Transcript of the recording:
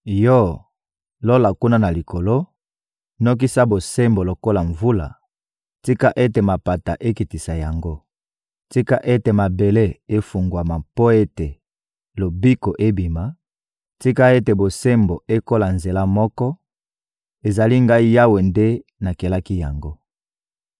Yo, Lola kuna na likolo, nokisa bosembo lokola mvula, tika ete mapata ekitisa yango! Tika ete mabele efungwama mpo ete lobiko ebima; tika ete bosembo ekola nzela moko! Ezali Ngai Yawe nde nakelaki yango.